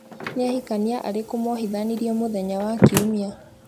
Ni ahikania arikũ muhithanirwo muthenya wa kiumia ?